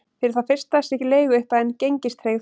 Fyrir það fyrsta sé leiguupphæðin gengistryggð